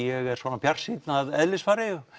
ég er svona bjartsýnn að eðlisfari